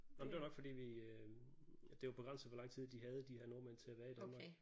Nå men det var nok fordi vi øh det var begrænset hvor lang tid de havde de her nordmænd til at være i Danmark